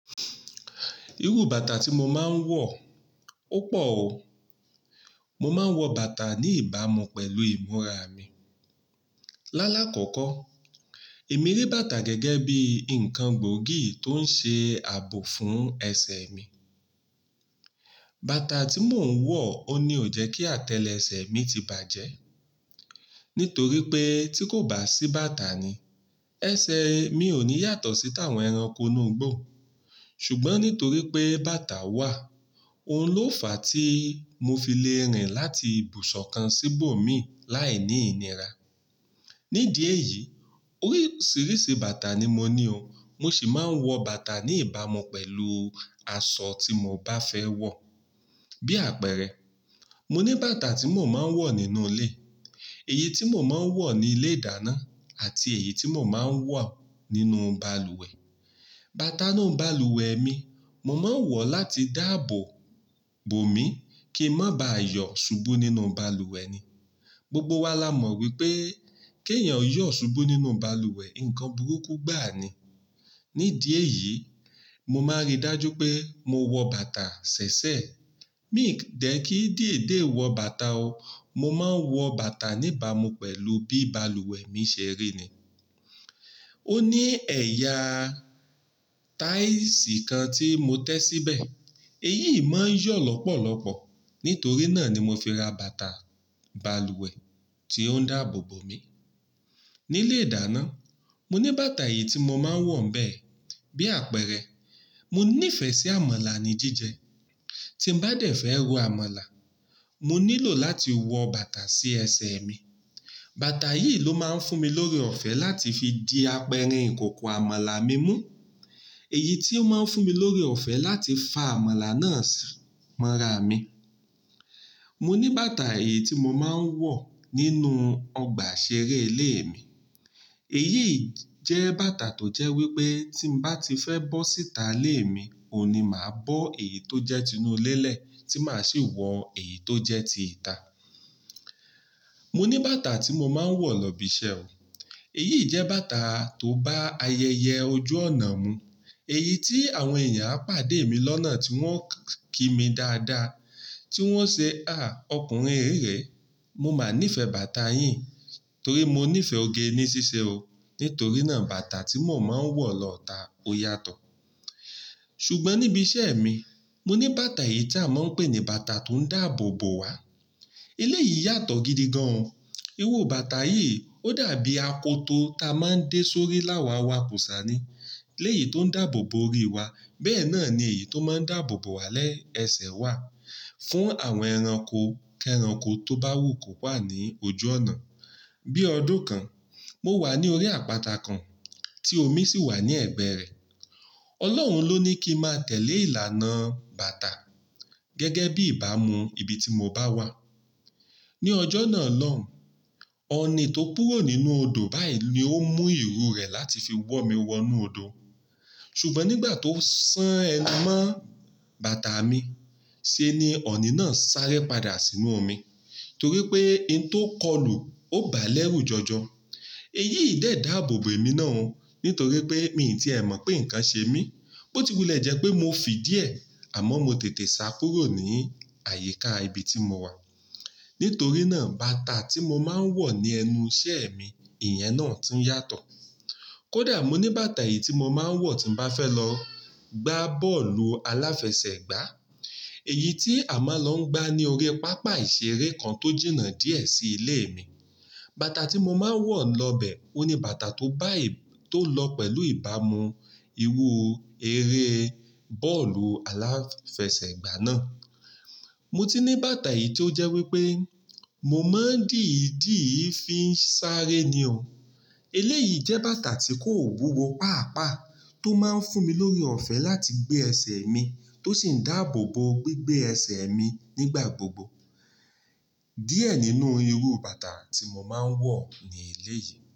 Irú bàtà tí mo máa ń wọ̀, ó pọ̀ o. Mo máa ń wọ bàtà ní ìbámu pẹ̀lú ìmúra mi. Lálá kọ́kọ́, èmi rí bàtà gẹ́gẹ́ bí ǹkan gbòógì tó ń ṣe ààbò fún ẹsẹ̀ mi. Bàtà tí mò ń wọ̀ ò ní jẹ́ kí àtẹlẹsẹ̀ mi ti bàjẹ́. Nítorí pé tí kò bá sí bàtà ni, ẹsẹ̀ mi ò ní yàtọ̀ sí táwọn ẹranko inú igbó. Ṣùgbọ́n nítorí pé bàtà wà, òun ló fàá tí mo fi le rìn láti ibùsọ̀ kan síbò mi láì ní ìnira. Ní díẹ̀ yìí, oríṣìíríṣìí bàtà ni mo ní o. Mo sì máa ń wọ bàtà ní ìbámu pẹ̀lú aṣọ tí mo bá fẹ́ wọ̀. Bí àpẹẹrẹ, mo ní bàtà tí mò máa ń wọ̀ nínú ilé, èyí tí mò máa ń wọ̀ ní ilé-ìdáná àti èyí tí mò máa ń wọ̀ nínú balùwẹ̀. Bàtà náà balùwẹ̀ mi, mo máa ń wọ̀ láti dáàbò bò mi kí ń má ba yọ̀ ṣubú nínú balùwẹ̀ ni. Gbogbo wa la mọ̀ wípé kí ẹ̀yàn yọ̀ ṣubú nínú balùwẹ̀, ǹkan burúkú gbà ni. Ní díẹ̀ yìí, mo máa rí dájú pé mo wọ bàtà ṣẹ̀ṣẹ̀. Mi dẹ̀ kí dìédè wọ bàtà o. Mo máa ń wọ bàtà ní ìbámu pẹ̀lú bí balùwẹ̀ mi ṣe rí ni. Ó ní ẹ̀yà táìsì kan tí mo tẹ́ síbẹ̀. Èyí ò máa ń yọ̀ lọ́pọ̀lọ́pọ̀. Nítorí náà ni mo fi ra bàtà balùwẹ̀ tí ó ń dáàbò bò mi. Ní ilé-ìdáná, mo ní bàtà èyí tí mo máa ń wọ̀ ń bẹ. Bí àpẹẹrẹ, mo ní ìfẹ́ sí àmàlà ní jíjẹ. Tí ń bá dẹ̀ fẹ́ ro àmàlà, mo nílò láti wọ bàtà sí ẹsẹ̀ mi. Bàtà yìí ló máa ń fún mi lórí ọ̀fẹ́ láti fi di apẹ̀rẹ̀ ìkòkò àmàlà mi mú. Èyí tí ó máa ń fún mi lórí ọ̀fẹ́ láti fa àmàlà náà sí mọ́ra mi. Mo ní bàtà èyí tí mo máa ń wọ̀ nínú ọgbà ìṣeré ilé mi. Èyí jẹ́ bàtà tó jẹ́ wípé tí ń bá ti fẹ́ bọ́ síta ilé mi, òun ni màá bọ́ èyí tó jẹ́ ti inú ilé lẹ̀ tí màá sì wọ̀n èyí tó jẹ́ ti ìta. Mo ní bàtà tí mo máa ń wọ̀ lọ ibi iṣẹ́ o. Èyí jẹ́ bàtà tó bá ayẹyẹ ojú ọ̀nà mu. Èyí tí àwọn èèyàn á pàdé mi lọ́nà tí wọ́n kí mi dáadáa, tí wọ́n ṣé "à, ọkùnrin rírẹ́". Mo máa ní ìfẹ́ bàtà yín torí mo ní ìfẹ́ oge ní ṣíṣe o. Nítorí náà bàtà tí mò máa ń wọ̀ lọ ìta ó yàtọ̀. Ṣùgbọ́n níbi iṣẹ́ mi, mo ní bàtà èyí tí a máa ń pè ní bàtà tó ń dáàbò bò wa. Ilé yìí yàtọ̀ gidi gan o. Irú bàtà yìí ó dàbí apoto ta máa ń dé sórí láwà wa kùṣà ni. Ilé yìí tó ń dáàbò bò orí wa bẹ́ẹ̀ náà ni èyí tó máa ń dáàbò bò wa lẹ́ ẹsẹ̀ wa fún àwọn ẹranko kẹranko tó bá wù kó wà ní ojú ọ̀nà. Bí ọdún kan, mo wà ní orí àpáta kan tí omi sì wà ní ẹ̀gbẹ́ rẹ. Ọlọ́run ló ní kí n má tẹ̀lé ìlànà bàtà gẹ́gẹ́ bí ìbámu ibi tí mo bá wà. Ni ọjọ́ náà lọ́hùn, ọ̀ọ́nì tó kúrò nínú odò báyìí ni ó mú irú rẹ̀ láti fi wọ̀ mí wọnú odò. Ṣùgbọ́n nígbà tó san ẹnu mọ́ bàtà mi sí ní ọ̀ọ́nì náà sáré padà sínú omi torí pé ohun tó kọlù ó bá lẹ́rù jọjọ. Èyí ò dẹ́ dáàbò bò mi náà o nítorí pé mi ò tíì tẹ̀ mọ̀ pé ǹkan ṣe mí. Ó ti wulẹ̀ jẹ́ pé mo fì díẹ̀ àmọ́ mo tètè sá kúrò ní àyíká ibi tí mo wà. Nítorí náà bàtà tí mo máa ń wọ̀ ní ẹnu iṣẹ́ mi, ìyẹn náà tún yàtọ̀. Kódà mo ní bàtà èyí tí mo máa ń wọ̀ tí ń bá fẹ́ lọ gbá bọ́ọ̀lù aláfẹsẹ̀gbá. Èyí tí a máa ń lọ gbá ní orí pápá ìṣeré kan tó jìnnà díẹ̀ sí ilé mi. Bàtà tí mo máa ń wọ̀ lọ bẹ òun ni bàtà tó bá èyí tó lọ pẹ̀lú ìbámu irú eré bọ́ọ̀lù aláfẹsẹ̀gbá náà. Mo ti ní bàtà èyí tí ó jẹ́ wípé mo máa ń dìídìí fi ń sáré ni o. Ilé yìí jẹ́ bàtà tí kò wúwo paapaa tó máa ń fún mi lórí ọ̀fẹ́ láti gbé ẹsẹ̀ mi tó sì ń dáàbò bò gbígbé ẹsẹ̀ mi nígbà gbogbo. Díẹ̀ nínú irú bàtà tí mo máa ń wọ̀ ní ilé yìí.